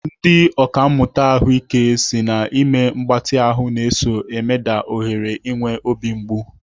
Ndị ọkàmmụta ahụike n'ahụike si na ime mgbatị ahụ na-eso emeda ohere inwe obi mgbu.